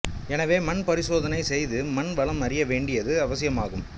எனவே மண் பரிசோதனை செய்து மண் வளம் அறிய வேண்டியது அவசியமாகும்